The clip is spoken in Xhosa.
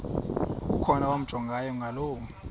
okukhona wamjongay ngaloo